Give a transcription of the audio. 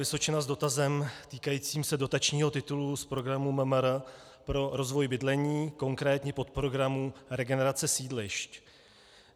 Vysočina s dotazem týkajícím se dotačního titulu z programu MMR pro rozvoj bydlení, konkrétně podprogramu Regenerace sídlišť.